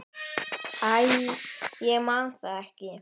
Æ, ég man það ekki.